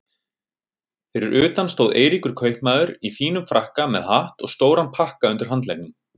Fyrir utan stóð Eiríkur kaupmaður í fínum frakka með hatt og stóran pakka undir handleggnum.